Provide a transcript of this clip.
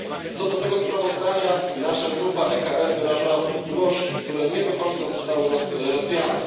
Co do tego sprawozdania nasza grupa EKR wyrażała wątpliwości, które nie do końca zostały rozwiane.